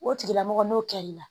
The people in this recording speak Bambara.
O tigilamɔgɔ n'o kɛr'i la